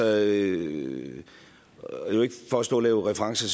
er ikke for at stå og lave referencer